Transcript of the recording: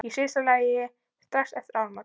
Í síðasta lagi strax eftir áramót.